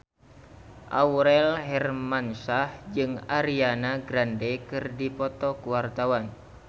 Aurel Hermansyah jeung Ariana Grande keur dipoto ku wartawan